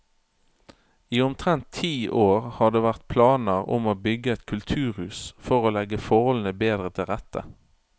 I omtrent ti år har det vært planer om å bygge et kulturhus for å legge forholdene bedre til rette.